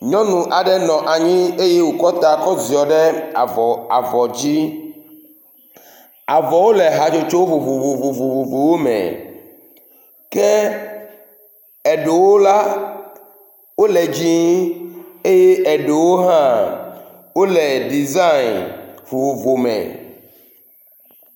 Nyɔnu aɖe nɔ anyi eye wòkɔ ta kɔ ziɔ ɖe avɔ avɔ dzi. Avɔwo le hatsotso vovovowo me. Ke eɖewo la, wole dzɛ̃eye eɖewo hã wole ɖisayi vovovo me.